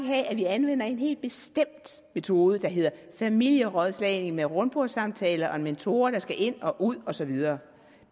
have at vi anvender en helt bestemt metode der hedder familierådslagning med rundbordssamtaler og mentorer der skal ind og ud og så videre